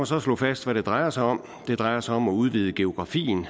så slå fast hvad det drejer sig om det drejer sig om at udvide geografien